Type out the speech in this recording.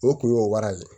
O kun ye o wara ye